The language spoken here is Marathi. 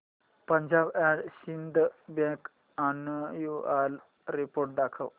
Punjab and Sind bank annual report दाखव